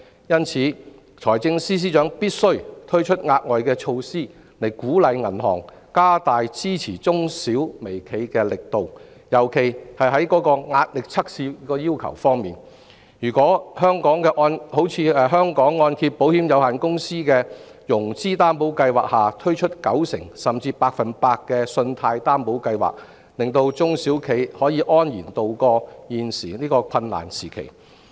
因此，財政司司長必須推出額外措施，以鼓勵銀行加大支持中小微企的力度，特別是在壓力測試要求方面，例如在香港按證保險有限公司的融資擔保計劃下推出九成甚至百分百的信貸擔保計劃，讓中小企可以安然渡過現時的困難時期。